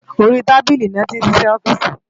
Óri tábili lòti n sisè òfìsí